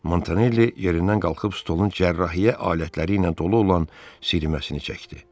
Montanelli yerindən qalxıb stolun cərrahiyyə alətləri ilə dolu olan siyirməsini çəkdi.